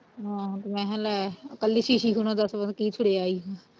ਆਹੋ ਤੇ ਮੈਂ ਲੈ ਕੱਲੀ ਸ਼ੀਸ਼ੀ ਥੁਣੋ ਦਸ ਕੀ ਥੁੜਿਆ ਈ